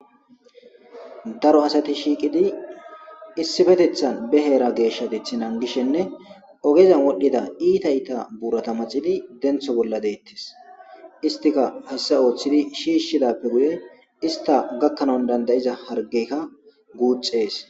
daro asati shiiqidi issifetethan be heera geeshshadeth nangishenne ogezan wodhdhida iita iita buurata maxidi dentho bolla deettes istika hasasa ooththidi shiishshidappe guye ista gakkanon dandayiza hargeykka guuxxees